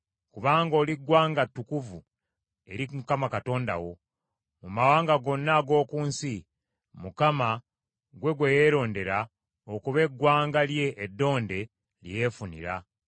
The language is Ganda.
kubanga oli ggwanga ttukuvu eri Mukama Katonda wo. Mu mawanga gonna ag’oku nsi, Mukama ggwe gwe yalondamu okuba eggwanga lye eddonde lye yeefunira.